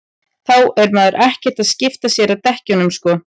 þá er maður ekkert að skipta sér að dekkjunum sko